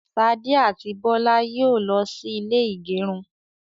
Ṣadé àti Bọlá yóò lọ sí ilé ìgẹrun.